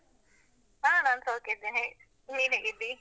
ಹಾ, ನಾನ್ ಸೌಖ್ಯ ಇದ್ದೇನೆ. ನೀನ್ ಹೇಗಿದ್ದಿ?